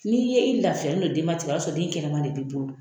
Ni ye i lafiyalen ye denbatigiya la , o ba sɔrɔ den kɛnɛma de bi bolo.